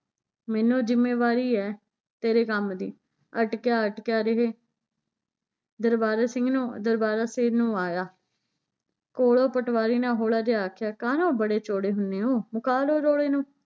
ਮੈਨੂੰ ਜ਼ਿੰਮੇਵਾਰੀ ਏ ਤੇਰੇ ਕੰਮ ਦੀ ਅਟਕਿਆ ਅਟਕਿਆ ਰਹੇ ਦਰਬਾਰਾ ਸਿੰਘ ਨੂੰ ਦਰਬਾਰਾ ਸਿਰ ਨੂੰ ਆਇਆ ਕੋਲੋਂ ਪਟਵਾਰੀ ਨੇ ਹੋਲਾ ਜਿਹਾ ਆਖਿਆ ਕਾਹਨੂੰ ਬੜੇ ਚੋੜੇ ਹੁੰਨੇ ਓ ਮੁਕਾ ਲਓ ਰੋਲੇ ਨੂੰ